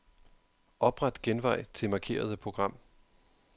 Opret genvej til markerede program.